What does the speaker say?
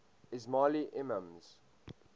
ismaili imams